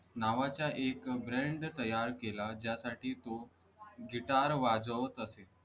नावाचा एक brand तयार केला ज्यासाठी तो गिटार वाजवत असे